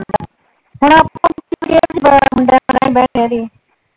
ਇਹ ਵੀ ਨਈਂ ਪਤਾ ਮੁੰਡਿਆਂ ਚ ਰਹਿੰਦਾ .